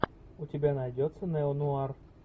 у тебя найдется неонуар